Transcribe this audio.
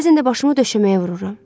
Bəzən də başımı döşəməyə vururam.